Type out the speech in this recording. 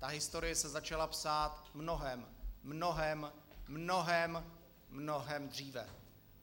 Ta historie se začala psát mnohem, mnohem, mnohem, mnohem dříve.